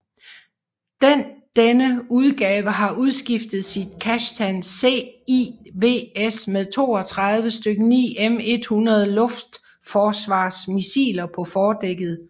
Den denne udgave har udskiftet sit Kashtan CIWS med 32 styk 9M100 luftforsvarsmissiler på fordækket